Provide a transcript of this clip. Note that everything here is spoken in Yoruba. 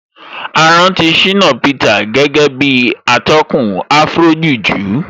A rántí Shina Peter gẹ́gẹ́ bí atọ́kùn Afrojuju